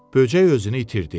Böcək özünü itirdi.